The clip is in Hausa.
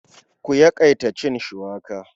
Ku yawaita cin shuwaka.